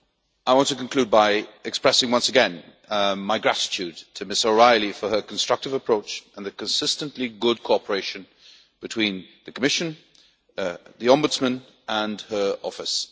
I want to conclude by expressing once again my gratitude to Ms O'Reilly for her constructive approach and the consistently good cooperation between the Commission, the Ombudsman and her office.